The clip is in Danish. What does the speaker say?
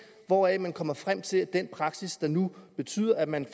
hvoraf man kommer frem til at den praksis nu betyder at man